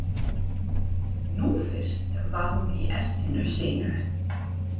Nú fyrst var hún í essinu sínu.